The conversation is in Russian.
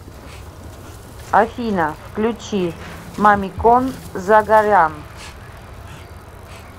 афина включи мамикон загарян